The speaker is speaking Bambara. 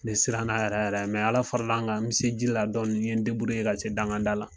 Ne siran n'a yɛrɛ yɛrɛ mɛ ala faral'an kan an be se ji la dɔni n ye deburu ye ka se dangada la